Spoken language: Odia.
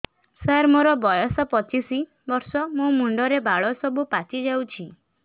ସାର ମୋର ବୟସ ପଚିଶି ବର୍ଷ ମୋ ମୁଣ୍ଡରେ ବାଳ ସବୁ ପାଚି ଯାଉଛି